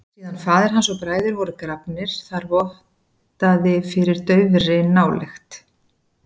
Síðan faðir hans og bræður voru grafnir þar vottaði fyrir daufri nálykt.